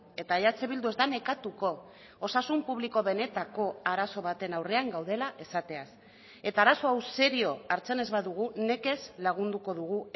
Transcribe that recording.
eta eh bildu ez da nekatuko osasun publiko benetako arazo baten aurrean gaudela esateaz eta arazo hau serio hartzen ez badugu nekez lagunduko dugu